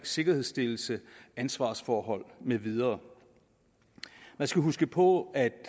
sikkerhedsstillelse og ansvarsforhold med videre man skal huske på at